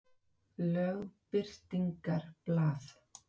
Sá sem leikur undir gamanvísnasöng eltir söngvarann.